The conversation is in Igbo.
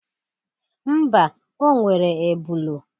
Mba, o nwere ebụlu.